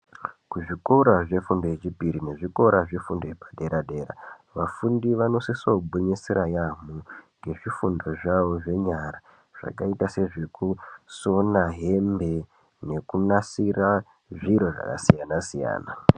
Kuzvikora zvifundo yechipiri nekuzvikora zvefundo yepadera-dera, vafundi vanosisogwinyisira yaamho ngezvifundo zvavo zvenyara, zvakaita sezvekusona hembe, nekunasira zviro zvakasiyana-siyana.